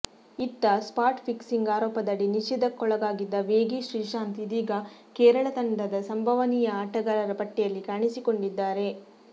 ಇತ್ತ spot fixing ಆರೋಪದಡಿ ನಿಷೇಧಕ್ಕೊಳಗಾಗಿದ್ದ ವೇಗಿ ಶ್ರೀಶಾಂತ್ ಇದೀಗ ಕೇರಳ ತಂಡದ ಸಂಭವನೀಯ ಆಟಗಾರರ ಪಟ್ಟಿಯಲ್ಲಿ ಕಾಣಿಸಿಕೊಂಡಿದ್ದಾರೆ